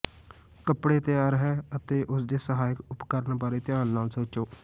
ਕੱਪੜੇ ਤਿਆਰ ਹੈ ਅਤੇ ਉਸ ਦੇ ਸਹਾਇਕ ਉਪਕਰਣ ਬਾਰੇ ਧਿਆਨ ਨਾਲ ਸੋਚੋ